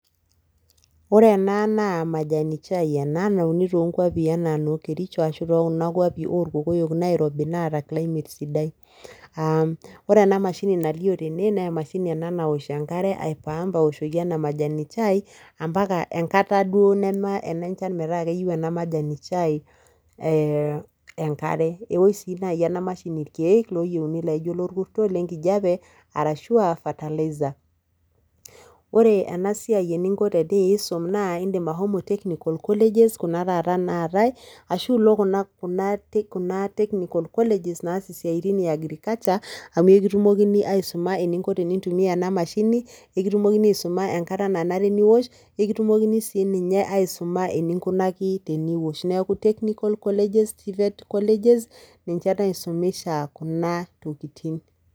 Ore ena naa majani chai ena nauni toonkuapi anaa noo kericho ashuu tookuna kuapi orkokoyok naairobi naata climate sidai. Aah ore ena mashini nalio tene neemashini ena nawosh enkare aipum awoshoki ena majani chai ampaka enkata duo neme ene nchan metaa keyou ena majani chai eeh enkare, ewosh sii nai ena mashini ilkeek looyouni laijo lolkurto, lenkijape arashu aa fertilizer. Ore enasiai eninko teniisom naa indim ashomo technical colleges kuna taata naatai ashu ilo [kuna kuna] , kuna technical colleges naasi siatin eagrikacha amu eikutumokini aisuma eninko tenintumia ena mashini nekitumokini aisuma enkata nanare niwosh nekitumokini sii ninye aisuma eninkunaki teniwosh neaku technical colleges, Tvet colleges ninche naisomesha kuna tokitin.